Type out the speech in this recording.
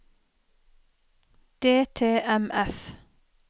DTMF